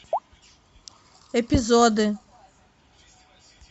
эпизоды